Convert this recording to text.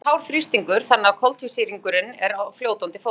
í kútunum er hár þrýstingur þannig að koltvísýringurinn er á fljótandi formi